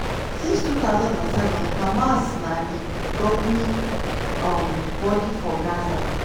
since 2007 hamas na di governing um body for gaza.